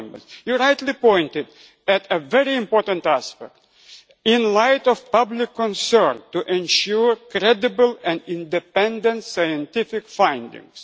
You rightly pointed to a very important aspect in light of public concern, to ensure credible and independent scientific findings'.